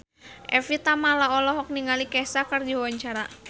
Evie Tamala olohok ningali Kesha keur diwawancara